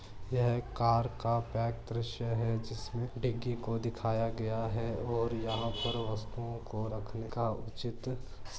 यहां car back दरसय है डिगी को दिखाया गया है और यहां पर वस्तुओ को रखने का उचित --